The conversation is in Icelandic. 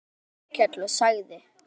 Þá hló Þórkell og sagði